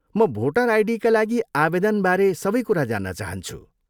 म भोटर आइडीका लागि आवेदनबारे सबै कुरा जान्न चाहन्छु।